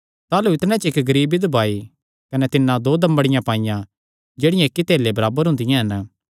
ताह़लू इतणे च इक्क गरीब बिधवा आई कने तिन्नै दो दमड़ियां पाईयां जेह्ड़ियां इक्की धेल्ले दे बराबर हुंदियां हन